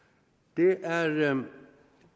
det er